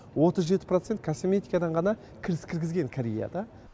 отыз жеті процент косметикадан ғана кіріс кіргезген кореяда